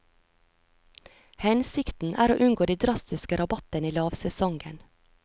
Hensikten er å unngå de drastiske rabattene i lavsesongen.